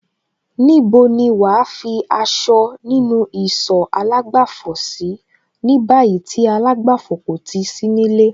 Níbo ni wàá fi aṣọ nínú ìsọ̀ àlágbàfọ̀ sí ní báyìí tí àlágbàfọ̀ kò ti sí nílé?